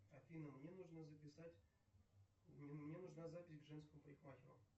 афина мне нужно записать мне нужна запись к женскому парикмахеру